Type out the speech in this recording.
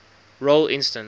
role instance